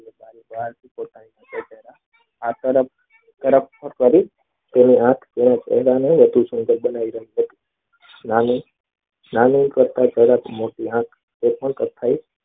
આ તરફ કરી તેની આંખ